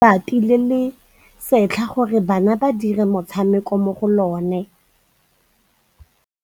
Ba rekile lebati le le setlha gore bana ba dire motshameko mo go lona.